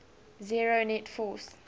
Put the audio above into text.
zero net force